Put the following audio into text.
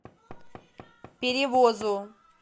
перевозу